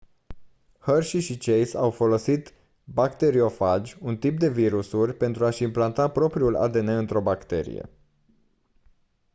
hershey și chase au folosit bacteriofagi un tip de virusuri pentru a-și implanta propriul adn într-o bacterie